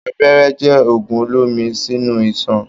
Abẹ́rẹ́ jẹ òògùn olómi sínú ìsàn